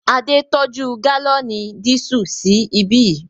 Adé tọ́jú gálọ̀nì dísù sí ibí yìí